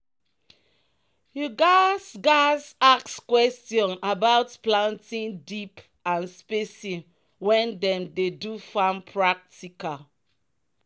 "you gats gats ask question about planting deep and spacing when dem dey do farm practical."